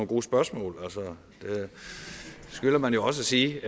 gode spørgsmål det skylder man jo også at sige